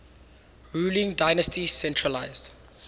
ruling dynasty centralised